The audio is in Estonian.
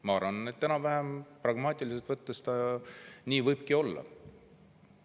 Ma arvan, et pragmaatiliselt võttes enam-vähem nii võibki olla.